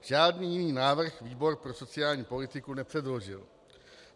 Žádný jiný návrh výbor pro sociální politiku nepředložil.